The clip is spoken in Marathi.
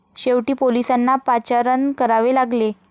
शेवटी पोलिसांना पाचारण करावे लागले.